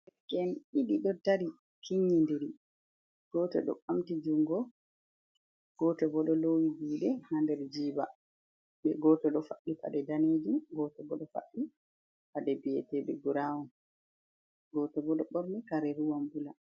Derke en ɗiɗi ɗo dari kinyi ndiri, goto ɗo ɓamti jungo, goto bo ɗo lowi juɗe ha nder jiba, be goto ɗo fadɗi paɗe danejum, goto bo ɗo fadɗi paɗe bieteɗe brawon goto ɓo ɗo ɓorni kare ruwan bula.